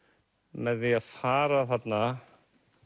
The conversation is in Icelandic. með því að fara þarna